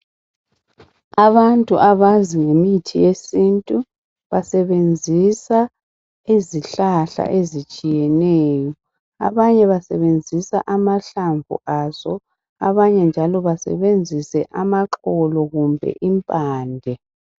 Abantu abazi ngemithi yesintu basebenzisa izihlahla ezitshiyeneyo. Abanye basebenzisa amahlamvu aso, abanye njalo basebenzise amaxolo kumbe imphande.